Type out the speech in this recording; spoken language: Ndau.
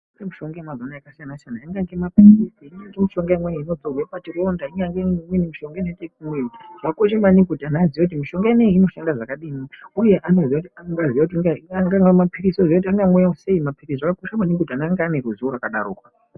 Mishonga yemazuva ano yakasiyana-siyana ingange maphilizi, ingange mishonga imweni inozorwe pachironda, ingange mishonga imweni inoite zvekumwiwa Zvakakosha maningi kuti anhu aziye kuti mishonga inoyi inoshanda zvakadini uye angaa maphilizi angaziya kuti anomwiwa sei. Zvakakosha maningi kuti anhu ruzivo rwakadaroko.